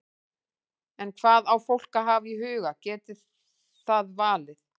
En hvað á fólk að hafa í huga geti það valið?